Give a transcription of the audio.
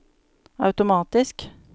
automatisk